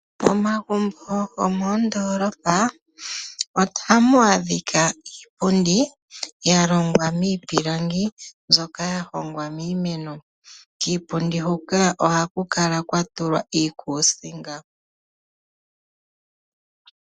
Momagumbo go moondolopa ohamu adhika iipundi ya longwa miipilangi mbyoka ya hongwa miimeno, kiipundi huka ohaku kala kwa tulwa iikuusinga.